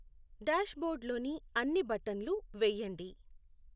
డాష్బోర్డ్లోని అన్నీ బట్టన్లు వేయండి